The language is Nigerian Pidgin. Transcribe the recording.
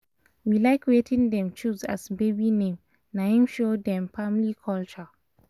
we like wetin dem choose as baby name na him show dem family culture